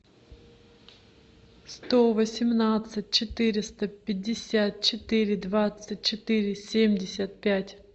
сто восемнадцать четыреста пятьдесят четыре двадцать четыре семьдесят пять